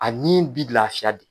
A nin bi laafiya de.